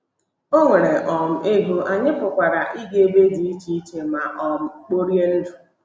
O nweere um ego, anyị pụkwara ịga ebe dị iche iche ma um kporie ndụ.